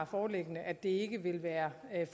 foreligger at det ikke vil være